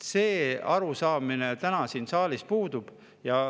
See arusaamine täna siin saalis puudub.